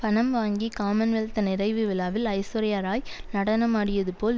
பணம் வாங்கி common wealth நிறைவு விழாவில் ஐஸ்வர்யாராய் நடனமாடியது போல்